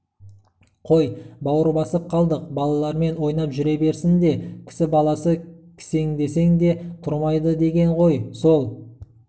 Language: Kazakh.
қой бауыр басып қалдық балалармен ойнап жүре берсін де кісі баласы кісендесең де тұрмайдыдеген ғой сол